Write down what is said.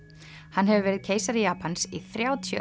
hann hefur verið keisari Japans í þrjátíu